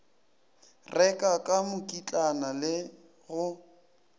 reka ka mokitlana le go